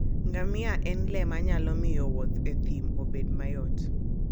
Ngamia en le manyalo miyo wuoth e thim obed mayot.